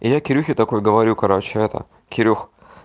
я кирюхи такой говорю короче это кирюх